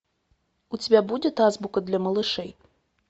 у тебя будет азбука для малышей